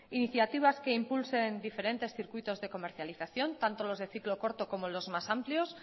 iniciativas que impulsen diferentes circuitos de comercializaciónn tanto los de ciclo corto como los más amplios